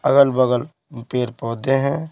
अगल-बगल पेर-पौधे हैं।